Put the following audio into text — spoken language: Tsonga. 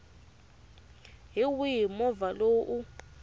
hi wihi movha lowu u